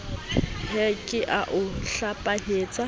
he ke a o hlapanyetsa